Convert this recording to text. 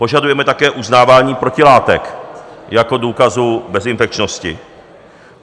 Požadujeme také uznávání protilátek jako důkazu bezinfekčnosti.